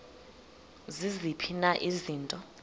ziziphi na izinto